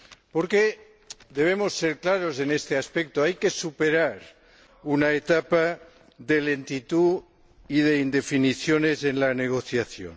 Porque debemos ser claros en este aspecto hay que superar una etapa de lentitud y de indefiniciones en la negociación.